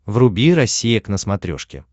вруби россия к на смотрешке